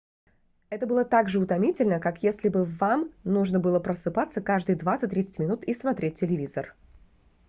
это было также утомительно как если бы вам нужно были просыпаться каждые 20-30 минут и смотреть телевизор